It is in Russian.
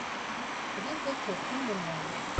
звездочет фильм онлайн